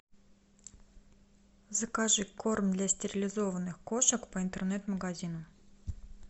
закажи корм для стерилизованных кошек по интернет магазину